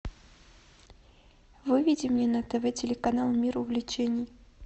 выведи мне на тв телеканал мир увлечений